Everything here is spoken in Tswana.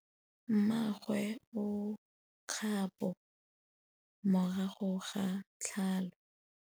Mmagwe o kgapô morago ga tlhalô.